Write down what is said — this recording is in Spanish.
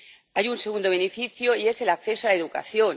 Hay un segundo beneficio, y es el acceso a educación.